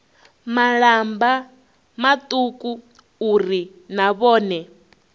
malamba mauku uri na vhone